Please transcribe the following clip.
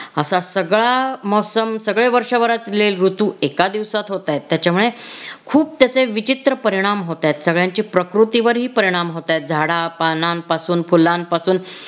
असा सगळा मौसम सगळे वर्षभरातले ऋतू एका दिवसात होतायत. त्याच्यामुळे खूप त्याचे विचित्र परिणाम होतायत सगळ्यांची प्रकृतीवरही परिणाम होतायत झाडा, पानांपासून, फुलांपासून